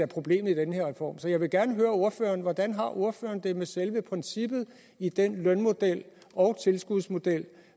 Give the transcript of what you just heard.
problem i den her reform så jeg vil gerne høre ordføreren hvordan ordføreren har det med selve princippet i den lønmodel og tilskudsmodel